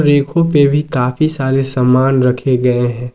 रैको पे भी काफी सारे सामान रखे गए हैं।